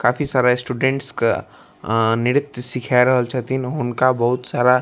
काफी सारा स्टूडेंट्स का अ नृत्य सिखाए रहल छथिन उनका बहूत सारा --